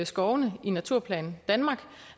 skovene i naturplan danmark